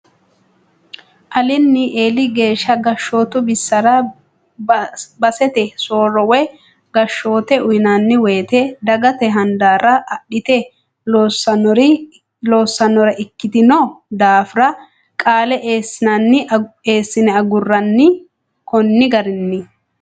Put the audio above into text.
Alinni eeli geeshsha gashshootu bisara basete soorro woyi gashshote uyinanni woyte dagate hadara adhite loossanore ikkitino daafira qaale eessine aguranni koni garinni